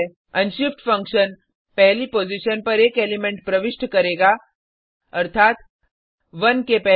unshift function पहली position पर एक एलिमेंट प्रविष्ट करेगा अर्थात 1 के पहले